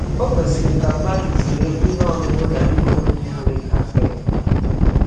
Ò kwesịrị ka mmadụ zere ihe ọṅụṅụ na ihe oriri nwere caffeine?